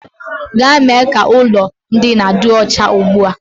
Gaa mee ka ụlọ ndina dị ọcha ugbu a!